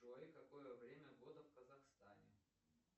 джой какое время года в казахстане